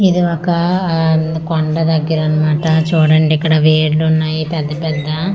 ఇది ఒక అఅ కొండ దెగ్గర అన్నమాట చూడండి ఇక్కడ వేర్లు ఉన్నాయి పెద్ద పెద్ద కొ--